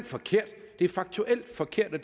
forkert det er faktuelt forkert og